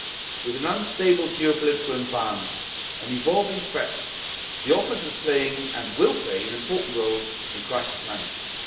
With an unstable geopolitical environment and evolving threats, EASO is playing and will play an important role in crisis management